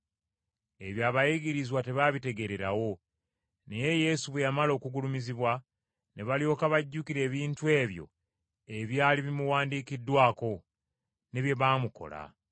Ebyo abayigirizwa tebaabitegeererawo, naye Yesu bwe yamala okugulumizibwa, ne balyoka bajjukira ebintu ebyo ebyali bimuwandiikiddwako, ne bye baamukola.